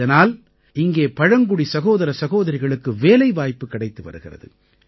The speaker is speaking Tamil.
இதனால் இங்கே பழங்குடி சகோதர சகோதரிகளுக்கு வேலைவாய்ப்பு கிடைத்து வருகிறது